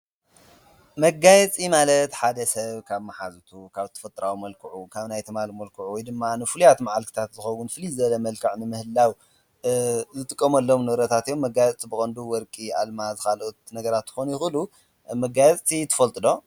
መጋየፂ ማለት ሓደ ሰብ ካብ መሓዝቱ ካብ ተፈጥራዊ መልክዑ ካብ ናይ ትማሊ መልክዑ ወይ ድማ ንፉልያት መዓልትታት ዝኸውን ፍልይ ዝበለ መልክዕ ንምህላው ዝጥቆመሎም ንብረታት እዮም። መጋያጽ ብቐንዱ ወርቂ፣ ኣልማዝ ኻልኦት ነገራት ይኾኑ ይዂሉ መጋየፅቲ ትፈልጥ ዶ?